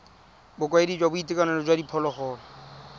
bokaedi jwa boitekanelo jwa diphologolo